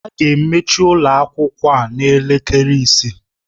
A ga-emechi ụlọ akwụkwọ a n'elekere isii.